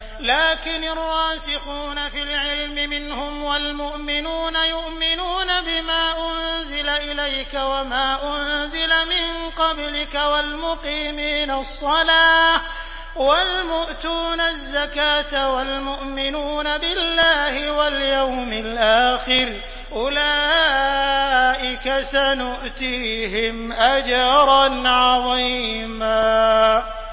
لَّٰكِنِ الرَّاسِخُونَ فِي الْعِلْمِ مِنْهُمْ وَالْمُؤْمِنُونَ يُؤْمِنُونَ بِمَا أُنزِلَ إِلَيْكَ وَمَا أُنزِلَ مِن قَبْلِكَ ۚ وَالْمُقِيمِينَ الصَّلَاةَ ۚ وَالْمُؤْتُونَ الزَّكَاةَ وَالْمُؤْمِنُونَ بِاللَّهِ وَالْيَوْمِ الْآخِرِ أُولَٰئِكَ سَنُؤْتِيهِمْ أَجْرًا عَظِيمًا